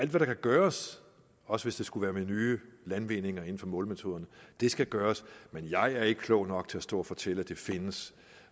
der kan gøres også hvis det skulle være med nye landvindinger inden for målemetoder skal gøres men jeg er ikke klog nok til at stå og fortælle at de findes